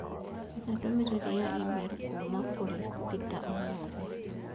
Etha ndũmĩrĩri ya i-mīrū kuuma kũrĩ Peter ũmũthĩ